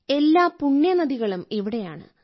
എല്ലാ പുണ്യനദികളും ഇവിടെയാണ്